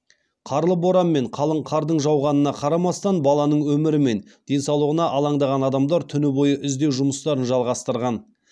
қарлы боран мен қалың қардың жауғанына қарамастан баланың өмірі мен денсаулығына алаңдаған адамдар түні бойы іздеу жұмыстарын жалғастырған